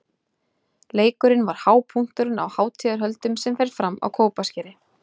Leikurinn var hápunkturinn á hátíðarhöldum sem fram fóru á Kópaskeri.